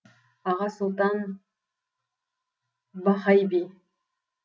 аға сұлтан бахай би